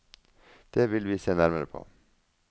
Det vil vi se nærmere på.